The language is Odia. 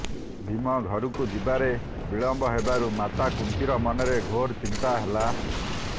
ଭୀମ ଘରକୁ ଯିବାରେ ବିଳମ୍ବ ହେବାରୁ ମାତା କୁନ୍ତୀର ମନରେ ଘୋର ଚିନ୍ତା ହେଲା